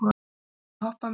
Vöggur, viltu hoppa með mér?